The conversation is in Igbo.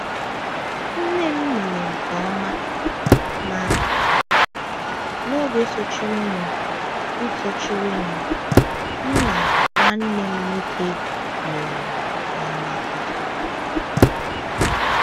Nne m mere nke ọma, ma n’oge sochirinụ, m sochirinụ, m na nwanne m nwoke mere nke ọma kwa.